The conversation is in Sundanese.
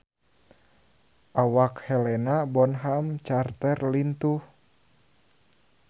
Awak Helena Bonham Carter lintuh